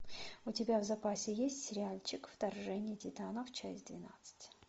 у тебя в запасе есть сериальчик вторжение титанов часть двенадцать